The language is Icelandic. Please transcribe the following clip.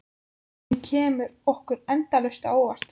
Og hún kemur okkur endalaust á óvart.